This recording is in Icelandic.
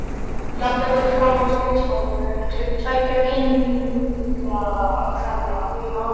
Ég labbaði fram á skrifstofu til tveggja kunningjakvenna minna.